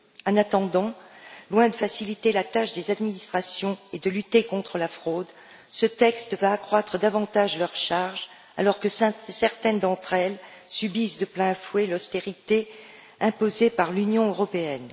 En attendant, loin de faciliter la tâche des administrations et de lutter contre la fraude, ce texte va accroître davantage leur charge, alors que certaines d'entre elles subissent de plein fouet l'austérité imposée par l'Union européenne.